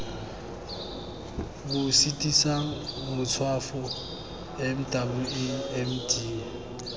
bo sitisang matshwafo mwamd kankere